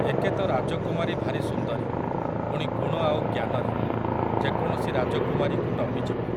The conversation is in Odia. ଏକେତ ରାଜକୁମାରୀ ଭାରି ସୁନ୍ଦରୀ, ପୁଣି ଗୁଣ ଆଉ ଜ୍ଞାନରେ, ଯେକୌଣସି ରାଜକୁମାରୀକୁ ଟପିଯିବ ।